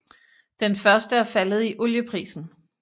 Den første er faldet i olieprisen